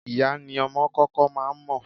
Ìyá ni ọmọ kọ́kọ́ máa ń mọ̀.